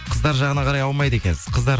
қыздар жағына қарай аумайды екенсіз қыздар